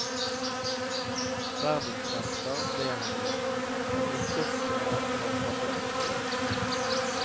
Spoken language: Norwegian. Verdensmester ble han jo, men ikke på måten han hadde ønsket.